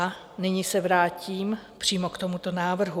A nyní se vrátím přímo k tomuto návrhu.